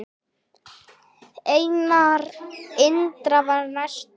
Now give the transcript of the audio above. Einar Indra var næstur.